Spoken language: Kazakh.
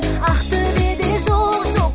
ақтөбеде жоқ жоқ